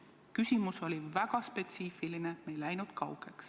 Küsimus oli väga spetsiifiline, me ei läinud kaugele.